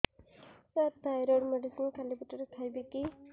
ସାର thyroid medicine ଖାଲି ପେଟରେ ଖାଇବି କି